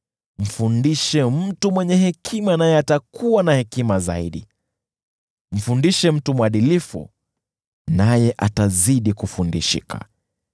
Mfundishe mtu mwenye hekima naye atakuwa na hekima zaidi; mfundishe mtu mwadilifu naye atazidi kufundishika.